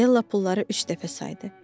Della pulları üç dəfə saydı.